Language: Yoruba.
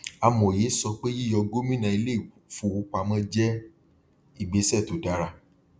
amòye sọ pé yíyọ gómìnà ilé ifówopamọ jẹ igbèsẹ tó dára